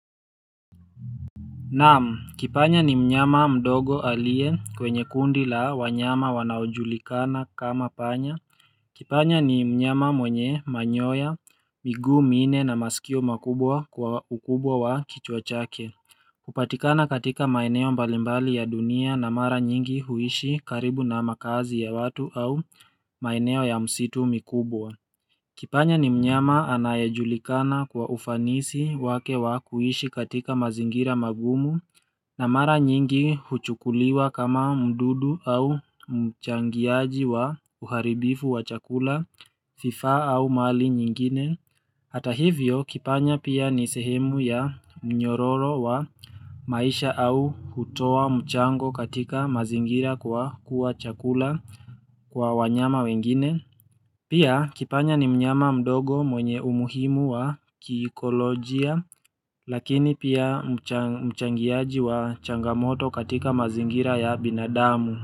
Naam, kipanya ni mnyama mdogo aliye kwenye kundi la wanyama wanaojulikana kama panya. Kipanya ni mnyama mwenye manyoya, miguu minne na masikio makubwa kwa ukubwa wa kichwa chake. Hupatikana katika maeneo mbalimbali ya dunia na mara nyingi huishi karibu na makazi ya watu au maeneo ya msitu mikubwa. Kipanya ni mnyama anayejulikana kwa ufanisi wake wa kuishi katika mazingira magumu na mara nyingi huchukuliwa kama mdudu au mchangiaji wa uharibifu wa chakula, vifaa au mali nyingine Hata hivyo kipanya pia ni sehemu ya mnyororo wa maisha au hutoa mchango katika mazingira kwa kuwa chakula kwa wanyama wengine Pia kipanya ni mnyama mdogo mwenye umuhimu wa kiikolojia lakini pia mchangiaji wa changamoto katika mazingira ya binadamu.